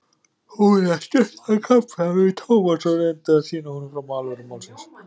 Hún las stuttan kafla fyrir Thomas og reyndi að sýna honum fram á alvöru málsins.